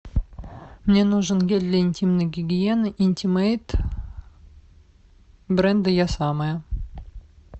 мне нужен гель для интимной гигиены интимейт бренда я самая